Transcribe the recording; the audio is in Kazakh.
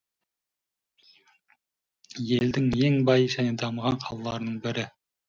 елдің ең бай және дамыған қалаларының бірі